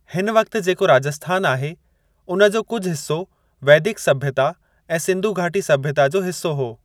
हिन वक्त जेको राजस्थान आहे, उन जो कुझु हिस्सो वैदिक सभ्यता ऐं सिंधु घाटी सभ्यता जो हिस्सो हो।